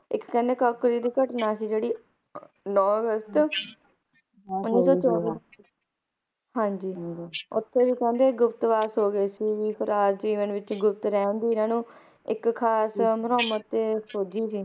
ਇੱਕ ਕਹਿੰਦੇ ਕੋਂਕਰੀ ਦੀ ਘਟਣਾ ਸੀਗੀ ਜਿਹੜੀ Nine ਅਗਸਤ Nineteen Twenty four ਹਾਂਜੀ ਹਾਂਜੀ ਤੇ ਉਥੇ ਵੀ ਕਹਿੰਦੇ ਗੁਪਤ ਵਾਸ ਹੋਗਿਆ ਸੀ ਵੀ ਜੀਵਨ ਵਿਚ ਗੁਪਤ ਰਹਿਣ ਦੀ ਓਹਨਾਂ ਨੂੰ ਇਕ ਖ਼ਾਸ ਅੰਦਰੋਂ ਮਤ ਸੋਝੀ ਸੀ